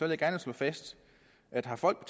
jeg gerne slå fast at har folk